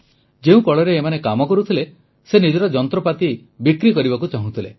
ଯେଉଁ କଳରେ ଏମାନେ କାମ କରୁଥିଲେ ସେ ନିଜର ଯନ୍ତ୍ରପାତି ବିକ୍ରି କରିବାକୁ ଚାହୁଁଥିଲେ